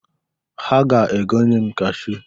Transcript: Ha ga-egonye m kashuu.